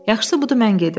Yaxşısı budur mən gedim.